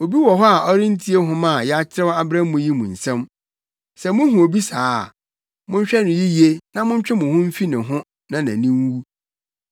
Obi wɔ hɔ a ɔrentie nhoma a yɛakyerɛw abrɛ mo yi mu nsɛm. Sɛ muhu obi saa a, monhwɛ no yiye na montwe mo ho mfi ne ho na nʼani nwu.